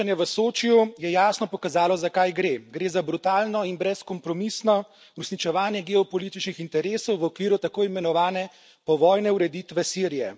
Srečanje v Sočiju je jasno pokazalo, za kaj gre. Gre ta brutalno in brezkompromisno uresničevanje geopolitičnih interesov v okviru tako imenovane povojne ureditve Sirije.